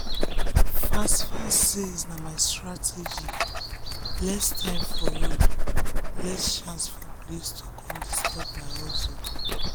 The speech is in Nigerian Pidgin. fast-fast sales na my strategy less time for road less chance for police to disturb my hustle.